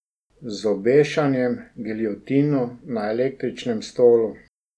Z obešanjem, giljotino, na električnem stolu.